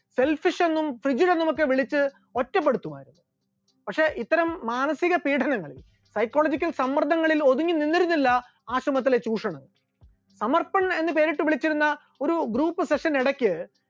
selfish എന്നും frijil എന്നുമൊക്കെ വിളിച്ച് ഒറ്റപ്പെടുത്തുമായിരുന്നു, പക്ഷെ ഇത്തരം മാനസിക പീഡനങ്ങൾ psychological സമ്മർദ്ദങ്ങളിൽ ഒതുങ്ങി നിന്നിരുന്നില്ല ആശ്രമത്തിലെ ചൂഷണം, സമർപ്പൺ എന്ന് പേരിട്ട് വിളിച്ചിരുന്ന ഒരു group section ഇടക്ക്